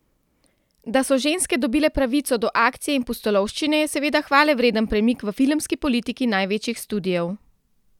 Da so ženske dobile pravico do akcije in pustolovščine, je seveda hvalevreden premik v filmski politiki največjih studiev.